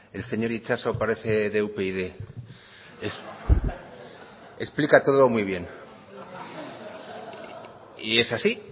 el señor itxaso parece de upyd explica todo muy bien y es así